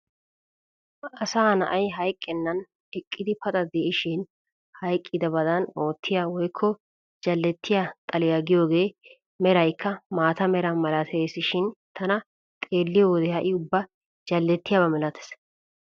Asaa na'ay hayqqenan eqqidi paxa de'ishin hayqqidabadan oottiyaa woykko jalettiyaa xaaliyaayaagiyoogee meraykka maata meraa malatesishin tana xeelliyoo wode ha'i ubba jallettiyaaba milatees.